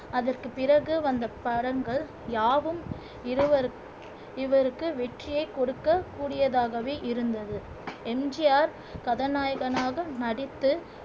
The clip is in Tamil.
அதற்குப் பிறகு வந்த படங்கள் யாவும் இவைகளு இவருக்கு வெற்றியைக் கொடுக்கக் கூடியதாகவே இருந்தது எம் ஜி ஆர் கதாநாயகனாக நடித்து